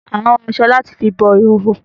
Àn wọ awọn aṣọ làti fi bo ihoho